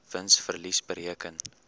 wins verlies bereken